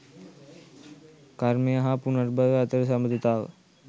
කර්මය හා පුනර්භවය අතර සබඳතාව